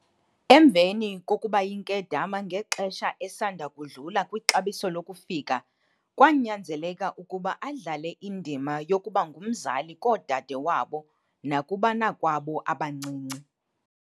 Emveni kokuba yinkedama ngexesha esanda kudlula kwixabiso lokufika, kwanyanzeleka ukuba adlale indima yokuba ngumzali, koodade wabo nakubanakwabo abancinci.